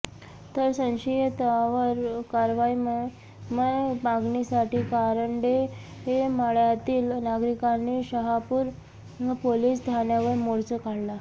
तर संशयितावर कारवाईमया मागणीसाठी कारंडे मळ्यातील नागरिकांनी शहापूर पोलिस ठाण्यावर मोर्चा काढला